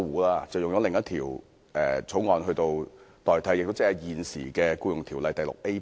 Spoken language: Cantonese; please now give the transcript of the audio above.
當局以另一些法例條文取代，即現時的《僱傭條例》第 VIA 部。